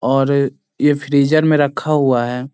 और ये फ्रीजर में रखा हुआ है।